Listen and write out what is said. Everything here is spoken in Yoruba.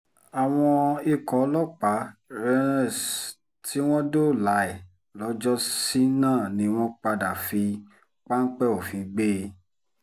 àwọn ikọ̀ ọlọ́pàá rns tí wọ́n dóòlà ẹ̀ lọ́jọ́sí náà ni wọ́n padà fi páńpẹ́ òfin gbé e